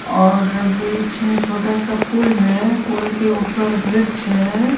और बीच में छोटा सा पुल है पुल के ऊपर वृक्ष है।